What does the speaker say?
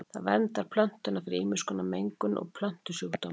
Það verndar plöntuna fyrir ýmiss konar mengun og plöntusjúkdómum.